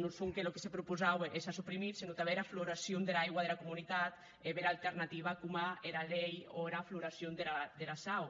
non sonque çò que propausaue e s’a suprimit senon tanben era floracion dera aigua dera comunitat e bèra alternativa coma era lei o era floracion dera sau